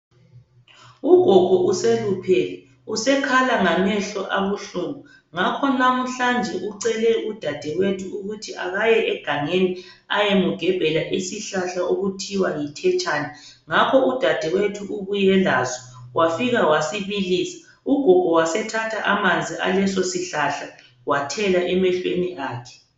Ugogo useluphele. Usekhala ngamehlo abuhlungu. Ngakho lamuhlanje ucele udadewethu ukuthi akaye egangeni ayemugebhela isihlahla okuthiwa yithetshane. Ngakho udadewethu ubuye laso wafika wasibilisa. Ugogo wasethatha amanzi aleso sihlahla wathela emehlweni akhe.